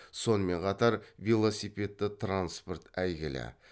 сонымен қатар велосипедті транспорт әйгілі